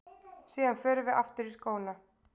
Síðan förum við aftur í skóna.